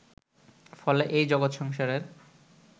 ফলে এই জগৎ সংসারের